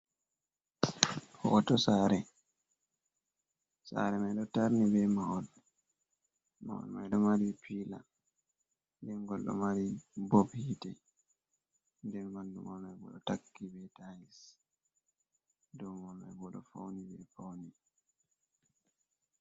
"Hoto sare"sare mai ɗo tarni be mahol. Mahol mai ɗo mari pila dengol ɗo mari bob hite den ɓandu mahol mai bo ɗo takki be tayis ɗow mai bo ɗo fauni be paune.